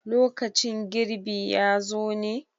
lokacin girbi ya zo ñe?